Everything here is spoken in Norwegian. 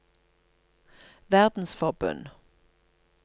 verdensforbund